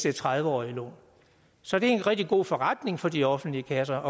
er tredive årige lån så det er en rigtig god forretning for de offentlige kasser at